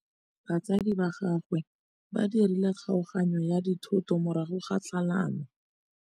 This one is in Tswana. Batsadi ba gagwe ba dirile kgaoganyô ya dithoto morago ga tlhalanô.